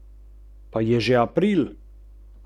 Nekajkrat so bili skupaj zunaj.